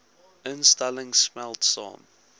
instellings smelt saam